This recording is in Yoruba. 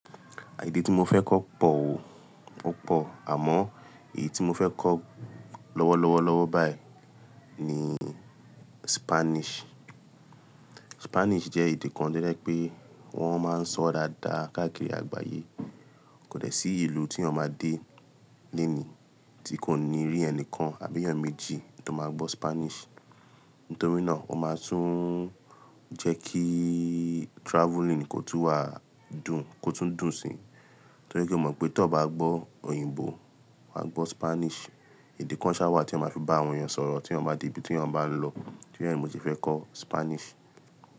Èdè tí mo fẹ́ kọ́ pọ̀ o, o pọ̀ àmọ́ èyí tí mo fẹ́ kọ́ lọ́wọ́ lọ́wọ́ lọ́wọ́ báyìí ni Spanish. Spanish jẹ́ èdè kan tí ó jẹ pé wọ́n máa ń sọ dáadáa káàkiri àgbáyé. Kò dẹ́ sí ìlú tí eeyan máa dé léèní tí kò ní rí ẹni kan àbí èèyàn méjì tó máa gbọ́ Spanish. Nítorí náà, ó máa tún jẹ́ kí travelling kò tún wà dùn, kó tún dùn síi. Nítorí pé mo mọ̀ pé tó bá gbọ́ òyìnbó, wa gbọ́ Spanish. Èdè kan ṣáwà tí eayan máa fi bá àwọn èèyàn sọ̀rọ̀ tí eeyan bá dé ibi tí eeyan bá ń lọ. Nítorí è mo se fẹ́ kọ́ Spanish.